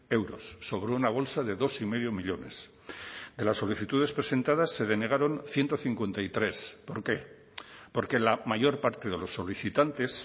euros sobre una bolsa de dos y medio millónes de las solicitudes presentadas se denegaron ciento cincuenta y tres por qué porque la mayor parte de los solicitantes